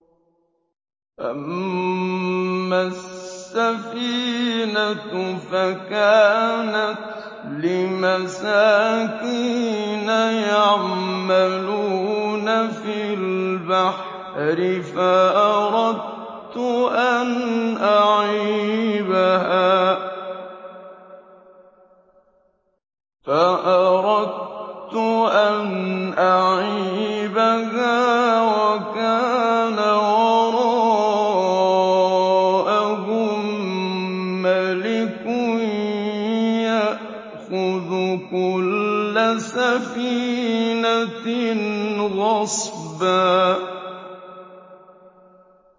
أَمَّا السَّفِينَةُ فَكَانَتْ لِمَسَاكِينَ يَعْمَلُونَ فِي الْبَحْرِ فَأَرَدتُّ أَنْ أَعِيبَهَا وَكَانَ وَرَاءَهُم مَّلِكٌ يَأْخُذُ كُلَّ سَفِينَةٍ غَصْبًا